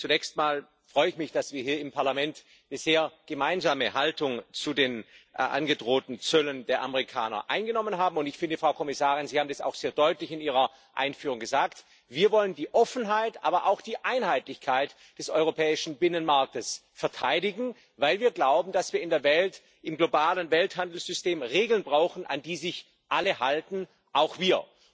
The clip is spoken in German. Zunächst einmal freue ich mich, dass wir hier im Parlament bisher eine gemeinsame Haltung zu den angedrohten Zöllen der Amerikaner eingenommen haben, und ich finde, Frau Kommissarin, Sie haben es auch sehr deutlich in ihrer Einführung gesagt Wir wollen die Offenheit, aber auch die Einheitlichkeit des europäischen Binnenmarktes verteidigen, weil wir glauben, dass wir in der Welt, im globalen Welthandelssystem Regeln brauchen, an die sich alle halten auch wir.